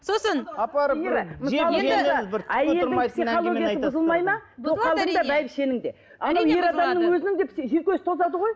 сосын апарып бір анау ер адамның өзінің де жүйкесі тозады ғой